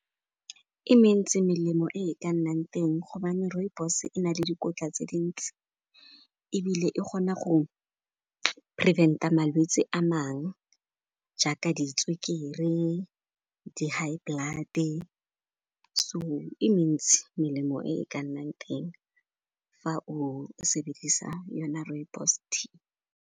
E mentsi melemo e ka nnang teng gobane rooibos e na le dikotla tse dintsi ebile e kgona go prevent-a malwetse a mangwe jaaka ditswekere, di-high blood-e. So e mentsi melemo e ka nnang teng fa o sebedisa yona rooibos tea.